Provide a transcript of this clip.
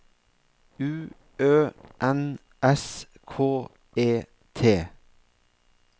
U Ø N S K E T